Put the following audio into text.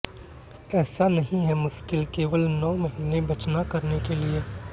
ऐसा नहीं है मुश्किल केवल नौ महीने बचना करने के लिए